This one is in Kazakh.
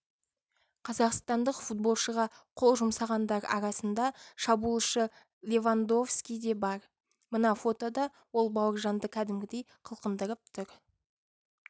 қазақстандық футболшыға қол жұмсағандар арасында шабуылшы левандовски де бар мына фотода ол бауыржанды кәдімгідей қылқындырып тұр